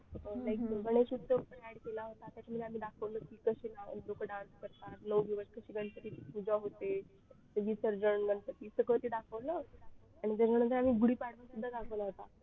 अं Like Ganesh Utsav पण add केलेला होता त्यात आम्ही दाखवलं कशी गणपतीची पूजा होते विसर्जन गणपतीचं सगळं ते दाखवलं आणि त्याच्यामध्ये आम्ही गुढीपाडवा पण दाखवला होता